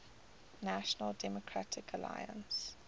national democratic alliance